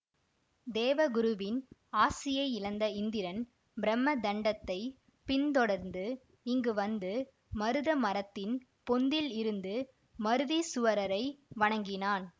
தேவகுருவின் ஆசியை இழந்த இந்திரன் பிரம தண்டத்தைப் பிந்தொடர்ந்து இங்கு வந்து மருத மரத்தின் பொந்தில் இருந்த மருதீசுவரரை வணங்கினான்